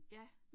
Ja